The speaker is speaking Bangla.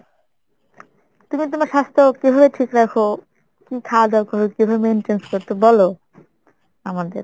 তুমি তোমার স্বাস্থ্য কিভাবে ঠিক রাখো? কী খাওয়া দাওয়া করো কিভাবে maintain করো তো বলো আমাদের।